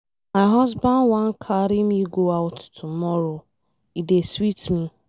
My husband wan carry me go out tomorrow, e dey sweet me.